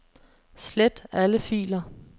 Slet alle filer.